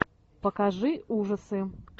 покажи ужасы